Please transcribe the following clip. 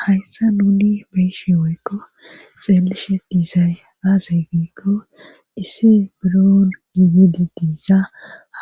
hayssa nuuni beyishi waykko xeellishe diisay aasay giikko issi biro giiyedi diissa